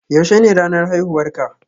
Yaushe ne ranar haihuwar ka?